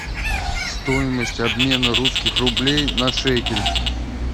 стоимость обмена русских рублей на шекель